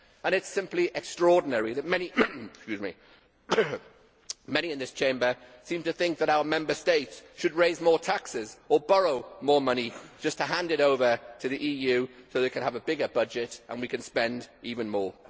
It is simply extraordinary that many in this Chamber seem to think that our Member States should raise more taxes or borrow more money just to hand it over to the EU so that they can have a bigger budget and we can spend even more.